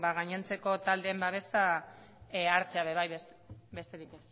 gainontzeko taldeen babesa hartzea ere bai besterik